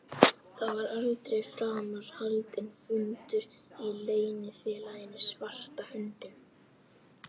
Það var aldrei framar haldinn fundur í Leynifélaginu svarta höndin.